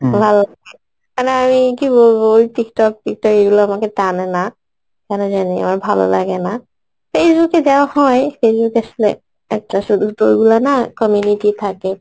কেননা আমি কি বলবো, Tiktok ফিক টক আমাকে এইগুলো টানেনা কেন জানি আমার ভালো লাগেনা এইযুগে যা হয় Facebook এর সঙ্গে একটা সুধু তো ঐগুলো না community থাকে